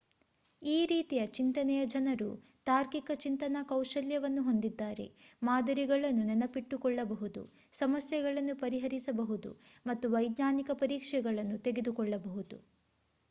ಈ ರೀತಿಯ ಚಿಂತನೆಯ ಜನರು ತಾರ್ಕಿಕ ಚಿಂತನಾ ಕೌಶಲ್ಯವನ್ನು ಹೊಂದಿದ್ದಾರೆ ಮಾದರಿಗಳನ್ನು ನೆನಪಿಟ್ಟುಕೊಳ್ಳಬಹುದು ಸಮಸ್ಯೆಗಳನ್ನು ಪರಿಹರಿಸಬಹುದು ಮತ್ತು ವೈಜ್ಞಾನಿಕ ಪರೀಕ್ಷೆಗಳನ್ನು ತೆಗೆದುಕೊಳ್ಳಬಹುದು